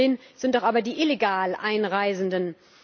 Das Hauptproblem sind doch aber die illegal Einreisenden.